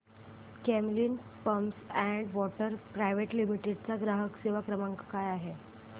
Camlin pumps and valves private limited चा ग्राहक सेवा क्रमांक काय आहे